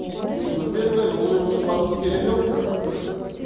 ну за первое он мне уже бабки перевёл как то вроде